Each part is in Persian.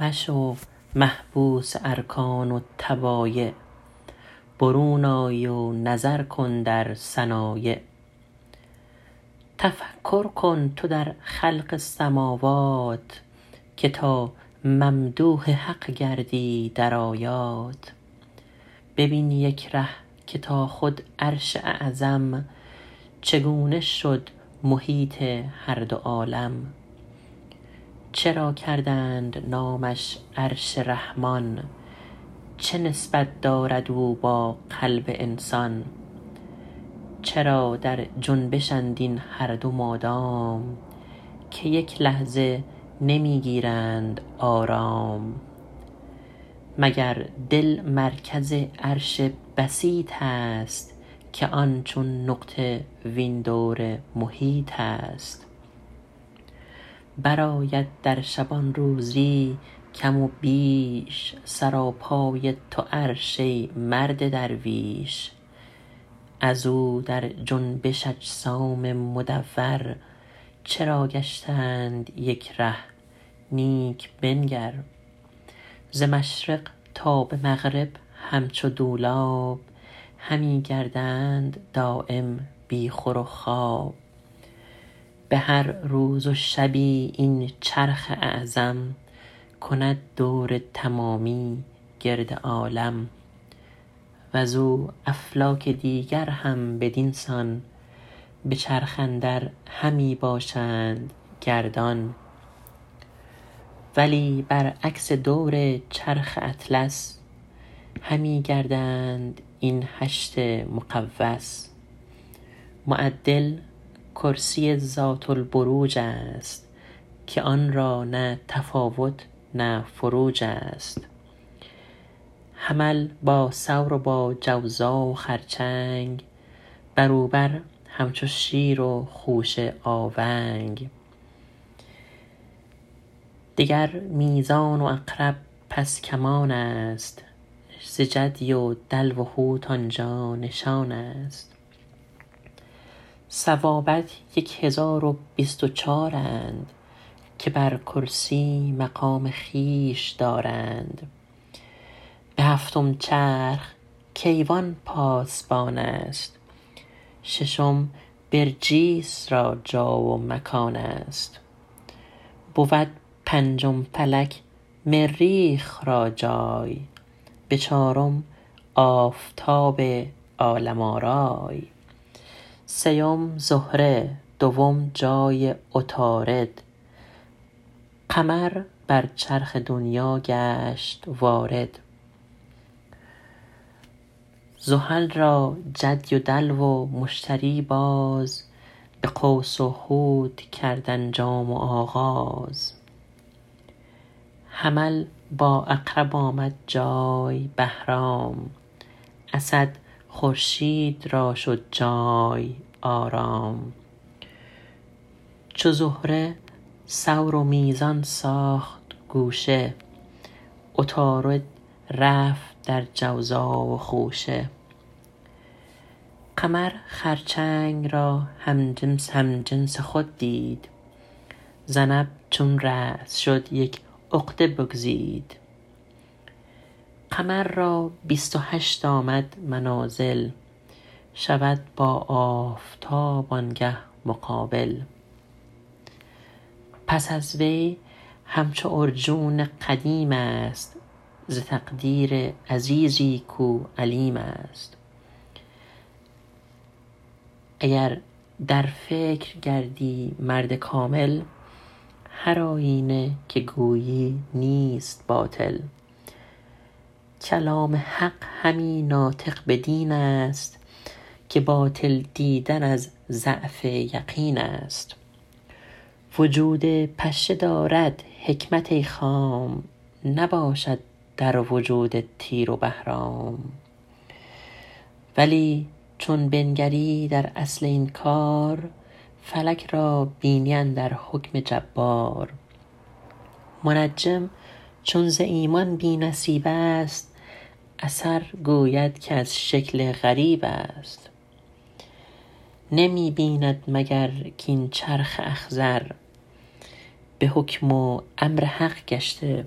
مشو محبوس ارکان و طبایع برون آی و نظر کن در صنایع تفکر کن تو در خلق سماوات که تا ممدوح حق گردی در آیات ببین یک ره که تا خود عرش اعظم چگونه شد محیط هر دو عالم چرا کردند نامش عرش رحمان چه نسبت دارد او با قلب انسان چرا در جنبشند این هر دو مادام که یک لحظه نمی گیرند آرام مگر دل مرکز عرش بسیط است که این چون نقطه وان دور محیط است برآید در شبانروزی کم و بیش سراپای تو عرش ای مرد درویش از او در جنبش اجسام مدور چرا گشتند یک ره نیک بنگر ز مشرق تا به مغرب همچو دولاب همی گردند دایم بی خور و خواب به هر روز و شبی این چرخ اعظم کند دور تمامی گرد عالم وز او افلاک دیگر هم بدین سان به چرخ اندر همی باشند گردان ولی برعکس دور چرخ اطلس همی گردند این هشت مقوس معدل کرسی ذات البروج است که آن را نه تفاوت نه فروج است حمل با ثور و با جوزا و خرچنگ بر او بر همچو شیر و خوشه آونگ دگر میزان عقرب پس کمان است ز جدی و دلو و حوت آنجا نشان است ثوابت یک هزار و بیست و چارند که بر کرسی مقام خویش دارند به هفتم چرخ کیوان پاسبان است ششم برجیس را جا و مکان است بود پنجم فلک مریخ را جای به چارم آفتاب عالم آرای سیم زهره دوم جای عطارد قمر بر چرخ دنیا گشت وارد زحل را جدی و دلو و مشتری باز به قوس و حوت کرد انجام و آغاز حمل با عقرب آمد جای بهرام اسد خورشید را شد جای آرام چو زهره ثور و میزان ساخت گوشه عطارد رفت در جوزا و خوشه قمر خرچنگ را همجنس خود دید ذنب چون راس شد یک عقده بگزید قمر را بیست و هشت آمد منازل شود با آفتاب آنگه مقابل پس از وی همچو عرجون قدیم است ز تقدیر عزیزی کو علیم است اگر در فکر گردی مرد کامل هر آیینه که گویی نیست باطل کلام حق همی ناطق بدین است که باطل دیدن از ظن الذین است وجود پشه دارد حکمت ای خام نباشد در وجود تیر و بهرام ولی چون بنگری در اصل این کار فلک را بینی اندر حکم جبار منجم چون ز ایمان بی نصیب است اثر گوید که از شکل غریب است نمی بیند مگر کاین چرخ اخضر به حکم و امر حق گشته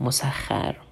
مسخر